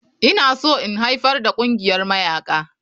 Ina so in haifar da ƙungiyar mayaƙa.